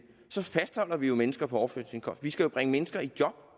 så fastholder vi jo mennesker på overførselsindkomst vi skal jo bringe mennesker i job